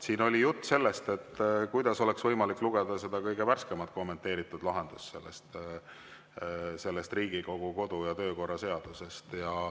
Siin oli juttu sellest, kuidas oleks võimalik lugeda seda kõige värskemat kommenteeritud Riigikogu kodu‑ ja töökorra seadusest.